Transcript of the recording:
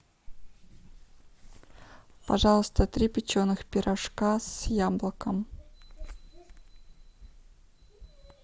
пожалуйста три печеных пирожка с яблоком